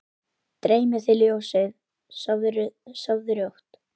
Dreymi þig ljósið, sofðu rótt